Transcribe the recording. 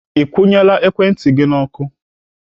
Ị kwụnyela ekwentị gị. N'ọkụ?